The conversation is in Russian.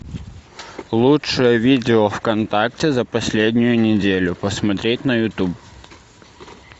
лучшее видео вконтакте за последнюю неделю посмотреть на ютуб